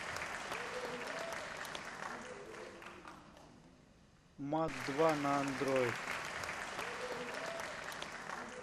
мат два на андроид